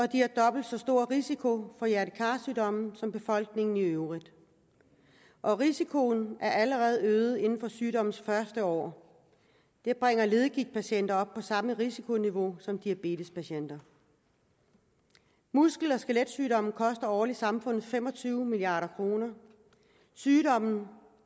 de har dobbelt så stor risiko for få hjerte kar sygdomme som befolkningen i øvrigt og risikoen er allerede øget inden for sygdommens første år det bringer leddegigtpatienter op på samme risikoniveau som diabetespatienter muskel og skeletsygdomme koster årligt samfundet fem og tyve milliard kroner sygdommen